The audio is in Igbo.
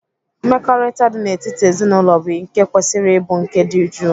Mmekọrịta dị n'etiti ezinaụlọ bụ nke kwesịrị ịbụ nke dị jụụ.